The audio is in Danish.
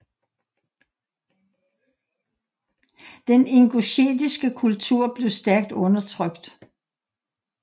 Den ingusjetiske kultur blev stærkt undertrykt